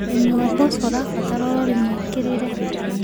Ũrĩmĩ wa mboco ũrabatara ũrorĩ mwĩkĩrĩre